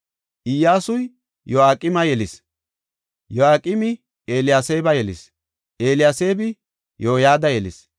Iyyasuy Yoyaaqima yelis; Yoyaaqimi Eliyaseeba yelis; Eliyaseebi Yoyada yelis;